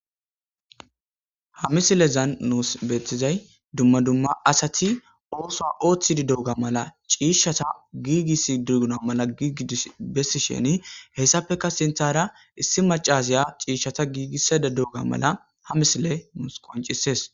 Ha misilezan nus betizay dumma dumma asati osoa otidi dioga mala cishata gigisidi dioga mala gididi besisheni hesapeka sintar issi macasiy cishata gigisayida deioga mala ha missile nus qoncises.